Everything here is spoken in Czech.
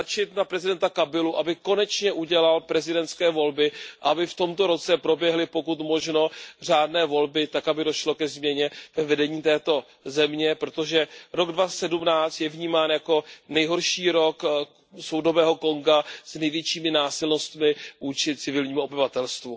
Tlačit na prezidenta Kabilu, aby konečně udělal prezidentské volby a aby v tomto roce proběhly pokud možno řádné volby tak, aby došlo ke změně ve vedení této země, protože rok 2017 je vnímán jako nejhorší rok soudobého Konga s největšími násilnostmi vůči civilnímu obyvatelstvu.